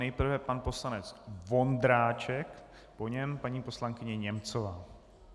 Nejprve pan poslanec Vondráček, po něm paní poslankyně Němcová.